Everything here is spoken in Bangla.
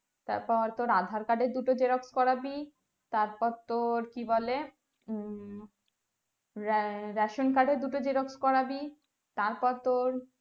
তারপর আর তোর andar card এর দুটো xerox করাবি তারপর তোর কি বলে হুম রা ration card এর দুটো xerox করাবি তারপর তোর